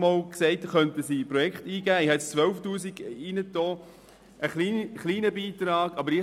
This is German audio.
Die Jugendlichen können mit diesem Geld eingegebene Projekte mitfinanzieren.